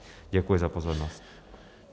Děkuji za pozornost.